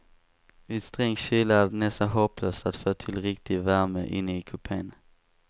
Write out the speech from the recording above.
Vid sträng kyla är det nästan hopplöst att få till riktig värme inne i kupen.